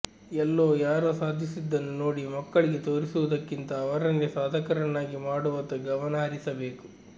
ಎಲ್ಲೋ ಯಾರೋ ಸಾಧಿಸಿದ್ದನ್ನು ನೋಡಿ ಮಕ್ಕಳಿಗೆ ತೋರಿಸುವುದಕ್ಕಿಂತ ಅವರನ್ನೇ ಸಾಧಕರನ್ನಾಗಿ ಮಾಡುವತ್ತ ಗಮನ ಹರಿಸಬೇಕು